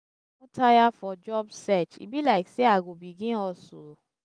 tire for job search e be like sey i go begin hustle.